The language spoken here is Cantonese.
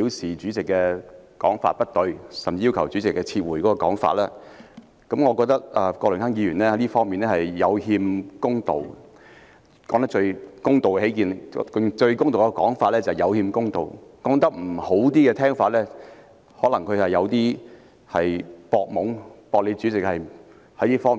出主席的說法不對，甚至要求主席撤回言論，我認為郭榮鏗議員在這方面有欠公道——最公道的說法是"有欠公道"，稍為不中聽的說法，則是他在"博懵"，"博"主席不及他熟悉這方面的知識。